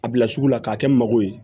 A bila sugu la k'a kɛ mago ye